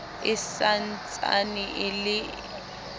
e sa ntsane e le